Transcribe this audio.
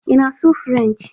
Ị na-asụ Frenchị?